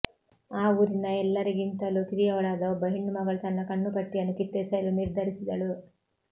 ಆ ಊರಿನ ಎಲ್ಲರಿಗಿಂತಲೂ ಕಿರಿಯಳಾದ ಒಬ್ಬ ಹೆಣ್ಣು ಮಗಳು ತನ್ನ ಕಣ್ಣುಪಟ್ಟಿಯನ್ನು ಕಿತ್ತೆಸೆಯಲು ನಿರ್ಧರಿಸಿದಳು